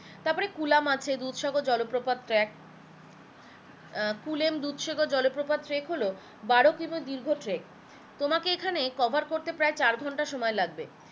তারপরে কুলাম আছে দুধসাগর জলপ্রপাত ট্র্যাক আহ কুলেম দুধসাগর জলপ্রপাত ট্র্যাক হলো বারো কিমি দীর্ঘ ট্র্যাক তোমাকে এখানে cover করতে প্রায় চার ঘন্টা সময় লাগবে